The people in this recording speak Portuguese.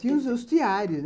Tinha os os teários.